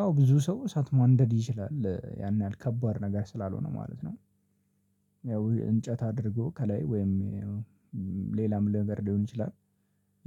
አዎ ብዙ ሰው እሳት ማንደድ ይችላል ያን ያህል ከባድ ነገር ስላልሆነ ማለት ነው። ያው እንጨት አድርጎ ከላይ ወይም ሌላም ለነገር ሊሆን ይችላል።